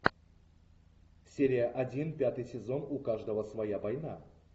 серия один пятый сезон у каждого своя война